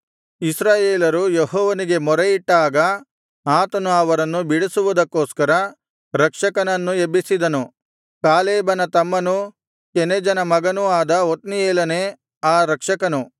ಇಸ್ರಾಯೇಲರು ಯೆಹೋವನಿಗೆ ಮೊರೆಯಿಟ್ಟಾಗ ಆತನು ಅವರನ್ನು ಬಿಡಿಸುವುದಕ್ಕೋಸ್ಕರ ರಕ್ಷಕನನ್ನು ಎಬ್ಬಿಸಿದನು ಕಾಲೇಬನ ತಮ್ಮನೂ ಕೆನಜನ ಮಗನೂ ಆದ ಒತ್ನೀಯೇಲನೇ ಆ ರಕ್ಷಕನು